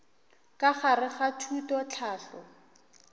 ka gare ga thuto tlhahlo